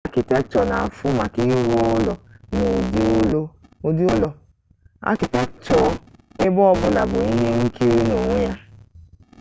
architecture n'afu maka iru ulo n'udi ulo architecture ebe obula bu ihe nkiri n'onwe ya